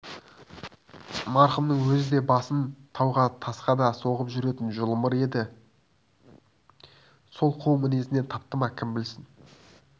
марқұмның өзі де басын тауға тасқа да соғып жүретін жұлымыр еді сол қу мінезінен тапты ма кім білсін